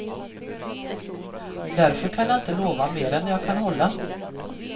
Därför kan jag inte lova mer än jag kan hålla.